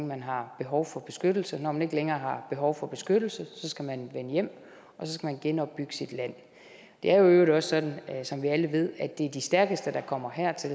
man har behov for beskyttelse når man ikke længere har behov for beskyttelse skal man vende hjem og så skal man genopbygge sit land det er i øvrigt også sådan som vi alle ved at det er de stærkeste der kommer her til